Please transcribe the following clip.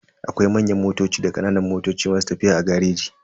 Akwai manyan motoci da kananan motoci masu tafiya a gareji.